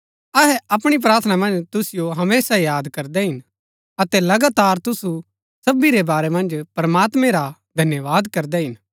अहै अपणी प्रार्थना मन्ज तुसिओ हमेशा याद करदै हिन अतै लगातार तुसु सबी रै बारै मन्ज प्रमात्मैं रा धन्यवाद करदै हिन